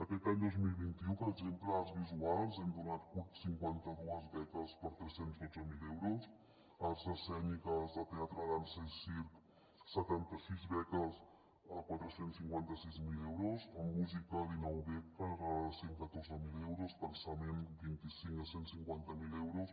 aquest any dos mil vint u per exemple a arts visuals hem donat cinquanta dues beques per tres cents i dotze mil euros a arts escèniques de teatre dansa i circ setanta sis beques de quatre cents i cinquanta sis mil euros en música dinou beques de cent i catorze mil euros pensament vint i cinc de cent i cinquanta miler euros